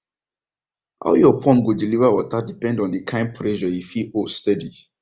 how your pump go deliver water depend on the kind pressure e fit hold steady